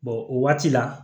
o waati la